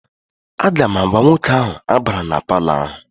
Aga m agwa nwoke ahụ, abala na palọ ahụ!